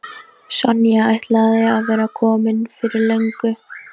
Sonja ætlaði að vera komin fyrir löngu.